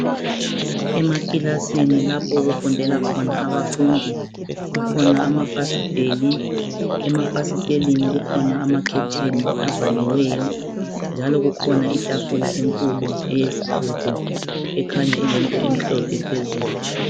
Emakilasini lapho okufundela khona abafundi kukhona amafasiteli, emafasiteleni kukhona amakhetheni avaliweyo. Njalo kukhona itafula enkulu eyesigodo ekhanya ilento emhlophe phezulu.